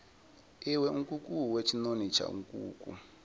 iwe nkukuwe tshinoni tsha nkuku